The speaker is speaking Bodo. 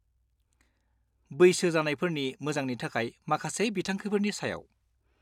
बैसो जानायफोरनि मोजांनि थाखाय माखासे बिंथांखिफोरनि सायाव।